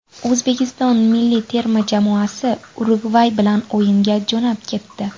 O‘zbekiston milliy terma jamoasi Urugvay bilan o‘yinga jo‘nab ketdi.